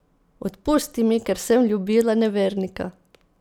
Odpusti mi, ker sem ljubila nevernika!